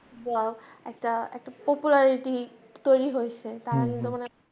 বা একটা একটা পপুলারিটি তৈরি হয়সে